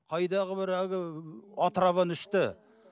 қайдағы бір әлгі отраваны ішті